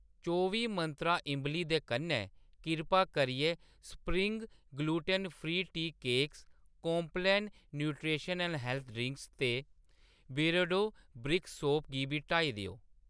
चौबी मंत्रा इंबली दे कन्नै, किरपा करियै spring gluten free tea cakes , Complan nutrition and health पेय ते बियरडो ब्रिक सोप गी बी हटाई देओ।